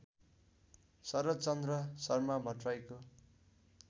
Sharadchandra Sharma भट्टर्राईको